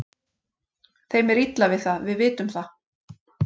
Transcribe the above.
Þeim er illa við það, við vitum það.